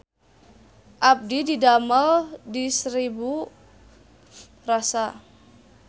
Abdi didamel di Seribu Rasa